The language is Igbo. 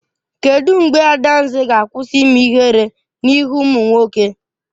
Kedụ mgbe Adanze ga-akwụsị ime ihere n'ihu ụmụ nwoke?